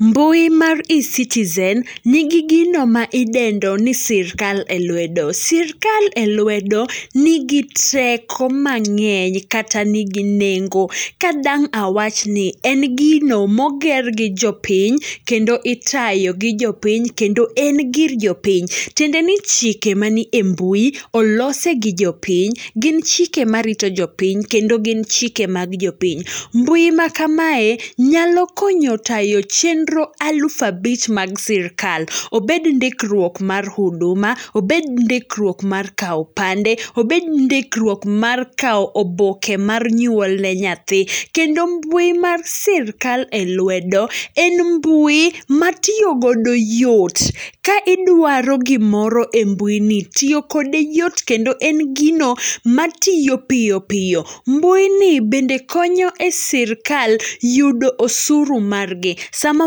Mbui mar e-citizen nigi gino maidendoni sirkal e lwedo. Sirkal e lwedo nigi teko mang'eny, kata nigi nengo. Kadang' awachni en gino moger gi jopiny, kendo itayo gi jopiny, kendo en gir jopiny. Tiendeni chike manie mbui olosi gi jopiny, gin chike marito jopiny, kendo gin chike mag jopiny. Mbui makamae nyalo konyo tayo chenro aluf abich mag sirkal, obed ndikruok mar huduma, obed ndikruok mar kao opande, obed ndikruok mar kao oboke mar nyuolne nyathi, kendo mbui mar sirkal e lwedo, en mbui matiyogodo yot. Ka idwaro gimoro e mbuini, tiyokode yot kendo, en gino matiyo piyo piyo. Mbuini bende konyo e sirkal yudo osuru margi. Sama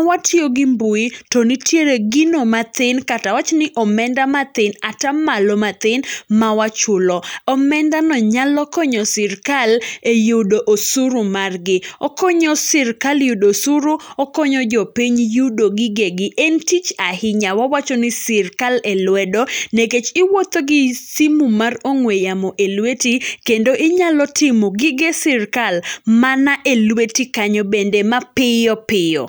watiyogi mbui to nitiere gino mathin, kata awachni omenda matin, atamalo mathin mawachulo. Omendani nyalo konyo sirkal e yudo osuru margi. Okonyo sirkal yudo sirkal, okonyo jopiny yudo gigegi, en tich ahinya, wawachoni sirkal e lwedo, nikech iwuotho gi simu mar ong'we yamo e lweti, kendo inyalo timo gige sirkal mana e lweti kanyo bende mapiyo piyo.